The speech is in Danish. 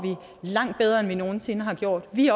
langt bedre end vi nogen sinde har gjort vi